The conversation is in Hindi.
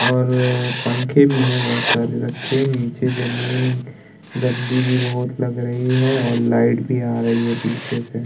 और पंखे भी हैं बहोत सारे रखे हैं। नीचे जमीन गंदी भी बहोत लग रही है और लाइट भी आ रही पीछे से।